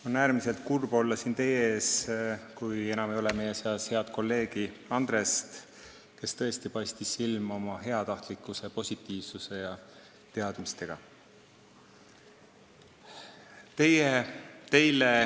On äärmiselt kurb olla siin teie ees, kui enam ei ole meie seas head kolleegi Andrest, kes tõesti paistis silma oma heatahtlikkuse, positiivsuse ja teadmistega.